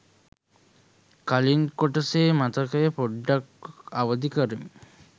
කලින් කොටසේ මතකය පොඩ්ඩක් අවදි කරමින්